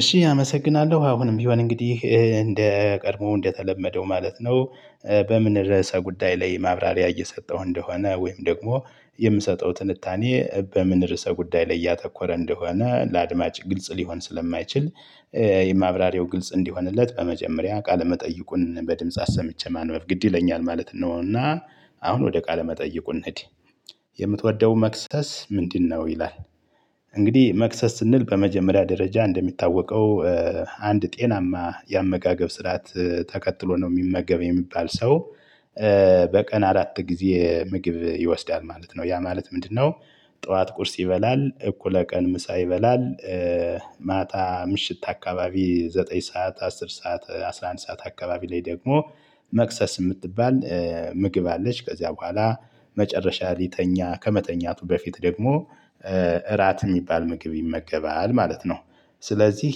እሺ አመሰግናለሁ አሁንም ቢሆን እንግዲህ እንደ ቀድሞ እንደተለመደው ማለት ነው። በምን ርዕሰ ጉዳይ ላይ ማብራሪያ እየሰጠው እንደሆነ ወይም ደግሞ የምሰጠው ትንታኔ በምን ርዕሰ ጉዳይ ላይ እያተኮረ እንደሆነ ለአድማጭ ግልጽ ሊሆን ስለማይችል። የማብራሪው ግልጽ እንዲሆንለት በመጀመሪያ ቃለ መጠይቁን በድምጽ አሰምቼ ማንበብ ግድ ይለኛል ማለት ነው። እና አሁን ወደ ቃለ መጠይቁ እንሂድ። የምትወደው መክሰስ ምንድነው ይላል? እንግዲህ መክሰስ ስንል በመጀመሪያ ደረጃ እንደሚታወቀው። አንድ ጤናማ የአመጋገብ ስርዓት ተከትሎ ነው የሚመገብ የሚባል ሰው። በቀን አራት ጊዜ ምግብ ይወስዳል ማለት ነው። ያ ማለት ምንድነው? ጠዋት ቁርስ ይበላል እኩለ ቀን ምሳ ይበላል። ማታ ምሽት አካባቢ ዘጠኝ ሰዓት አስር ሰዓት አስራ አንድ ሰዓት አካባቢ ላይ ደግሞ መክሰስ የምትባል ምግብ አለች። ከዚያ በኋላ መጨረሻ ሊተኛ ከመተኛቱ በፊት ደግሞ እራት የሚባል ምግብ ይመገባል ማለት ነው። ስለዚህ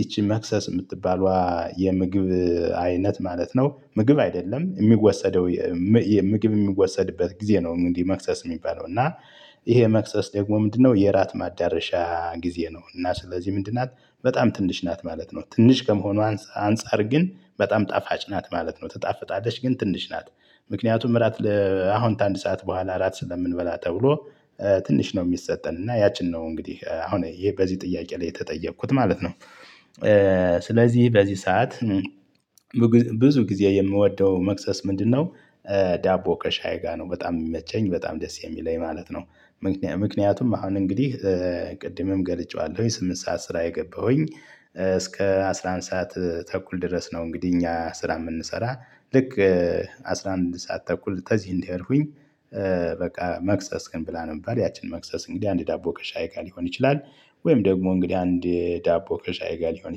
ይቺን መክሰስ የምትባለው የምግብ አይነት ማለት ነው ምግብ አይደለም የሚወሰደው። የሚ ምግብ የሚወሰድበት ጊዜ ነው። እንግዲህ መክሰስ የሚባለው እና ይሄ መክሰስ ደግሞ ምንድነው? የእራት ማዳረሻ ጊዜ ነው እና ስለዚህ ምንድን ናት በጣም ትንሽ ናት ማለት ነው። ትንሽ ከመሆኑ አንፃር ግን በጣም ጣፋጭ ናት ማለት ነው ትጣፍጣለች ግን ትንሽ ናት። ምክንያቱም እራት ለ አሁን ከ አንድ ሰዓት በኋላ እራት ስለምንበላ ተብሎ ትንሽ ነው። የሚሰጠን እና ያችን ነው እንግዲህ አሁን ይሄ በዚህ ጥያቄ ላይ የተጠየኩት ማለት ነው። ስለዚህ በዚህ ሰዓት ብዙ ጊዜ የምወደው መክሰስ ምንድነው? ዳቦ ከሻይ ጋር ነው በጣም የሚመቸኝ በጣም ደስ የሚለኝ ማለት ነው። ምክንያቱም አሁን እንግዲህ ቅድምም ገልጬዋለሁኝ ስምንት ሰዓት ስራ የገባሁኝ እስከ አስራ አንድ ሰዓት ተኩል ድረስ ነው። እንግዲህ እኛ ስራ የምንሰራ ልክ አስራ አንድ ሰዓት ተኩል ከዚ እንደሄድኩኝ በቃ መክሰስክን ብላ ነው የሚባል ያችን መክሰስ እንግዲህ አንድ ዳቦ ከሻይ ጋር ሊሆን ይችላል። ወይም ደግሞ እንግዲህ አንድ ዳቦ ከሻይ ጋር ሊሆን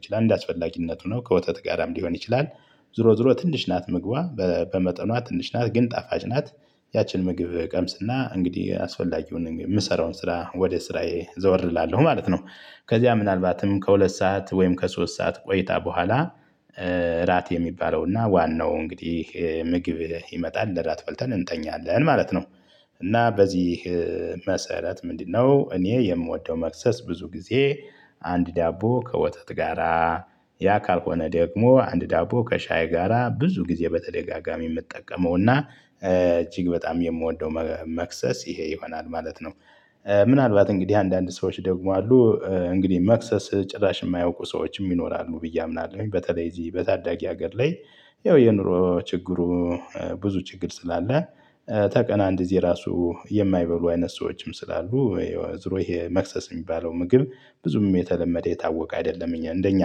ይችላል እንደአስፈላጊነቱ ነው ከወተት ጋርም ሊሆን ይችላል። ዞሮ ዞሮ ትንሽ ናት ምግቧ በመጠኗ ትንሽ ናት ግን ጣፋጭ ናት። ያችን ምግብ ቀምስና እንግዲህ አስፈላጊውን የምሰራውን ስራ ወደ ስራዬ ዘወር እላለሁ ማለት ነው። ከዚያ ምናልባትም ከሁለት ሰዓት ወይም ከሶስት ሰዓት ቆይታ በኋላ እራት የሚባለውና ዋናው እንግዲህ ምግብ ይመጣል እንደራት በልተን እንተኛለን ማለት ነው። እና በዚህ መሰረት ምንድነው እኔ የምወደው መክሰስ ብዙ ጊዜ አንድ ዳቦ ከወተት ጋራ ያ ካልሆነ ደግሞ አንድ ዳቦ ከሻይ ጋራ ብዙ ጊዜ በተደጋጋሚ የምጠቀመው እና እጅግ በጣም የምወደው መክሰስ ይሄ ይሆናል ማለት ነው። ምናልባት እንግዲህ አንዳንድ ሰዎች ደግሞ አሉ እንግዲህ መክሰስ ጭራሽ የማያውቁ ሰዎች ይኖራሉ ብዬ አምናለሁ በተለይ እዚህ በታዳጊ ሀገር ላይ። ያው የኑሮ ችግሩ ብዙ ችግር ስላለ። ተ ቀን እንደ ግዜ ራሱ የማይበሉ አይነት ሰዎችም ስላሉ የወ ዝሮ ይሄ መክሰስ የሚባለው ምግብ ብዙም የተለመደ የታወቀ አይደለም። እኛ እንደኛ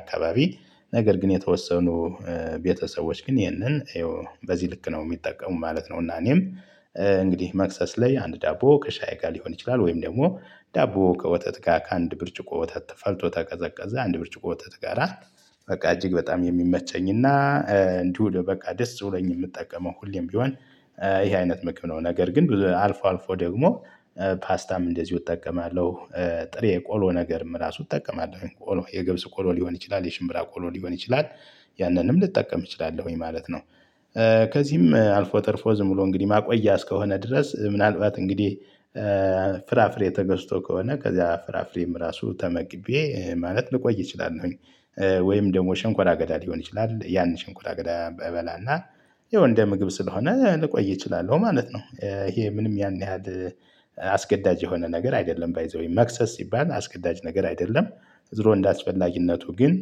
አካባቢ ነገር ግን የተወሰኑ ቤተሰቦች ግን ይህንን ይኸው በዚህ ልክ ነው የሚጠቀሙ ማለት ነው። እና እኔም እንግዲህ መክሰስ ላይ አንድ ዳቦ ከሻይ ጋር ሊሆን ይችላል ወይም ደግሞ ዳቦ ከወተት ጋር ከአንድ ብርጭቆ ወተት ተፈልቶ ተቀዘቀዘ አንድ ብርጭቆ ወተት ጋራ። በቃ እጅግ በጣም የሚመቸኝና እንዲሁ በቃ ደስ ብሎኝ የምጠቀመው ሁሌም ቢሆን ይሄ አይነት ምግብ ነው። ነገር ግን ብዙ አልፎ አልፎ ደግሞ ፓስታም እንደዚሁ እጠቀማለሁ። ጥሬ ቆሎ ነገርም እራሱ እጠቀማለሁቆሎ የ ገብስ ቆሎ ሊሆን ይችላል የሽምብራ ቆሎ ሊሆን ይችላል። ያንንም ልጠቀም እችላለሁኝ ማለት ነው። ከዚህም አልፎ ተርፎ ዝም ብሎ እንግዲህ ማቆያ እስከሆነ ድረስ ምናልባት እንግዲህ ፍራፍሬ ተገዝቶ ከሆነ ከዛ ፍራፍሬም ራሱ ተመግቤ ማለት ልቆይ እችላለሁኝ። ወይም ደግሞ ሽንኳራ አገዳ ሊሆን ይችላል ያን ሽንኳራ አገዳ እበላና ያው እንደ ምግብ ስለሆነ ልቆይ እችላለሁ ማለት ነው። ይሄ ምንም ያን ያህል አስገዳጅ የሆነ ነገር አይደለም ባይ ዘ ዌይ መክሰስ ሲባል አስገዳጅ ነገር አይደለም። ዝሮ እንዳስፈላጊነቱ ግን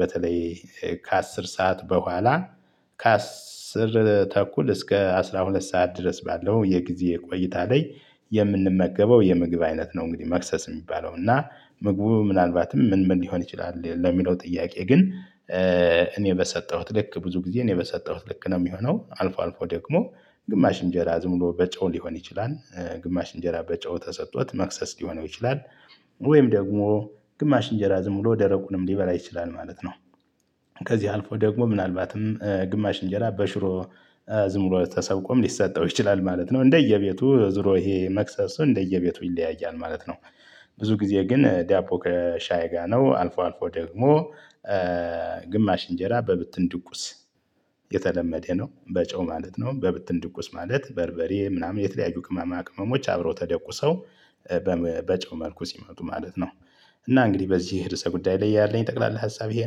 በተለይ ከአስር ሰዓት በኋላ ከአስር ተኩል እስከ አስራ ሁለት ሰዓት ድረስ ባለው የጊዜ ቆይታ ላይ የምንመገበው የምግብ አይነት ነው። እንግዲህ መክሰስ የሚባለው እና ምግቡ ምናልባትም ምን ምን ሊሆን ይችላል ለሚለው ጥያቄ ግን እኔ በሰጠሁት ልክ ብዙ ጊዜ እኔ በሰጠሁት ልክ ነው የሚሆነው አልፎ አልፎ ደግሞ ግማሽ እንጀራ ዝም ብሎ በጨው ሊሆን ይችላል። ግማሽ እንጀራ በጨው ተሰጥቶት መክሰስ ሊሆነው ይችላል። ወይም ደግሞ ግማሽ እንጀራ ዝም ብሎ ደረቁንም ሊበላ ይችላል ማለት ነው። ከዚህ አልፎ ደግሞ ምናልባትም ግማሽ እንጀራ በሽሮ ዝምብሎ ተሰብቆም ሊሰጠው ይችላል ማለት ነው እንደየቤቱ ዞሮ ይሄ መክሰሱ እንደየቤቱ ይለያያል ማለት ነው። ብዙ ጊዜ ግን ዳቦ ከሻይ ጋር ነው። አልፎ አልፎ ደግሞ ግማሽ እንጀራ በብትን ድቁስ የተለመደ ነው። በጨው ማለት ነው። በብትን ድቁስ ማለት በርበሬ ምናምን የተለያዩ ቅመማ ቅመሞች አብረው ተደቁሰው በጨው መልኩ ሲመጡ ማለት ነው። እና እንግዲህ በዚህ ርዕሰ ጉዳይ ላይ ያለኝ ጠቅላላ ሀሳብ ይሄ ነው